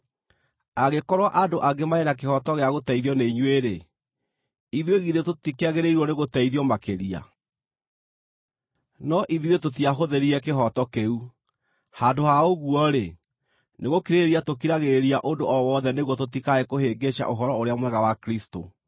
Angĩkorwo andũ angĩ marĩ na kĩhooto gĩa gũteithio nĩ inyuĩ-rĩ, ithuĩ githĩ tũtikĩagĩrĩirwo nĩgũteithio makĩria? No ithuĩ tũtiahũthĩrire kĩhooto kĩu. Handũ ha ũguo-rĩ, nĩ gũkirĩrĩria tũkiragĩrĩria ũndũ o wothe nĩguo tũtikae kũhĩngĩca Ũhoro-ũrĩa-Mwega wa Kristũ.